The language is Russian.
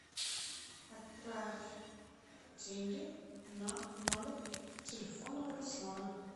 отправь деньги на номер телефона руслана